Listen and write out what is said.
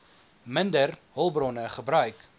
minder hulpbronne gebruik